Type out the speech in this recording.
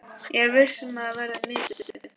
Ég er viss um að það verður mikið stuð.